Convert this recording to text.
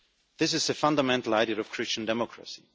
This is a fundamental idea of Christian democracy.